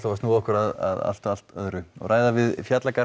að snúa okkur að allt allt öðru og ræða við